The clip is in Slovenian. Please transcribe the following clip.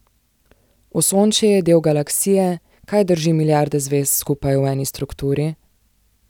Osončje je del Galaksije, kaj drži milijarde zvezd skupaj v eni strukturi?